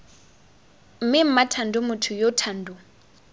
mme mmathando motho yo thando